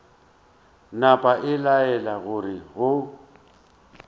napa a laela gore go